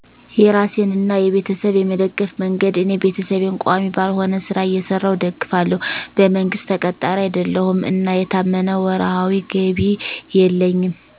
. የራሴንና የቤተሰብ የመደገፍ መንገድ እኔ ቤተሰቤን ቋሚ ባልሆነ ሥራ እየሰራሁ እደግፋለሁ። በመንግሥት ተቀጣሪ አይደለሁም እና የታመነ ወርሃዊ ገቢ የለኝም